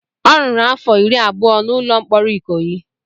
Ọ rụrụ afọ iri abụọ na ụlọ mkpọrọ Ikoyi.